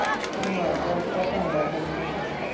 ਤੁਹਾਨੂੰ ਆਵਾਜ਼ ਜਾਪਦੀ ਘਟ ਆਉਣ ਡੈ ਪੈਂਦੀ phone ਦੀ।